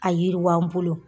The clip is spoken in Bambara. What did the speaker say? A yiriwa n bolo